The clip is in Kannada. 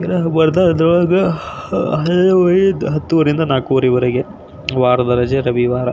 ಶನಿವಾರ ಮತ್ತು ರವಿವಾರು ವಾರ್ ದ್ ರಜೆ.